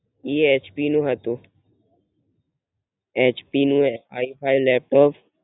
Yes do you કર્નોવ how to? નુ હતું એચ પી નુ એ High five લેપટોપ